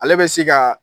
Ale bɛ se ka